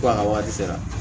Ko a ka waati sera